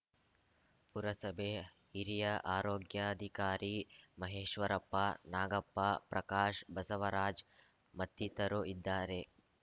ಪುರಸಭೆ ಹಿರಿಯ ಆರೋಗ್ಯಾಧಿಕಾರಿ ಮಹೇಶ್ವರಪ್ಪ ನಾಗಪ್ಪ ಪ್ರಕಾಶ್‌ ಬಸವರಾಜ್‌ ಮತ್ತಿತರು ಇದ್ದಾರೆ